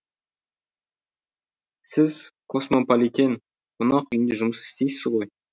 сіз космополитен қонақ үйінде жұмыс істейсіз ғой